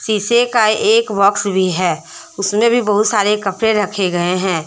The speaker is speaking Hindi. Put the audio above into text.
शीशे का एक बॉक्स भी हैउसमें भी बहुत सारे कपड़े रखे गए हैं।